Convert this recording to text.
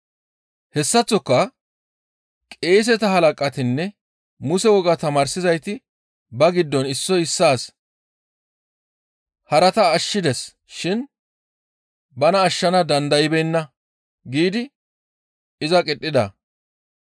Hessaththoka qeeseta halaqatinne Muse wogaa tamaarsizayti ba giddon issoy issaas, «Harata ashshides shin bana ashshana dandaybeenna» giidi iza qidhida.